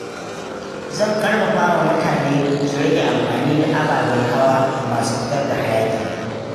Zan ƙarfafa mutane su rage amfani da ababen hawa masu fitar da hayaki.